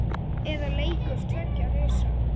Eða leikur tveggja risa?